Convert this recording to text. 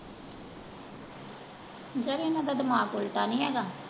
ਓਦਾਂ ਵੀ ਇਹਨਾਂ ਦਾ ਦਿਮਾਗ ਉਲਟਾ ਨਹੀਂ ਹੈਗਾ।